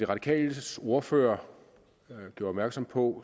radikales ordfører gjorde opmærksom på